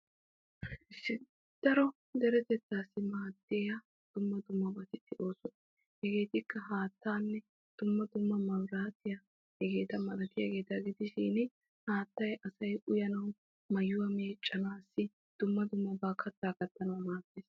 daro deretettaassi maaddiya dumma dummabati de'oosona. hegeetikka haattaanne dumma dumma mabiraatiya hegeeta malatiyageeta gidishin haattay asay uyanawu, mayyuwa meeccanawunne dumma dummabaa kattaa kattanawu maaddes.